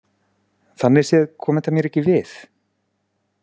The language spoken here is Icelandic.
Þannig séð kom þetta mér ekki við.